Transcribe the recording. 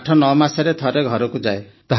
89 ମାସରେ ଥରେ ଘରକୁ ଯାଏ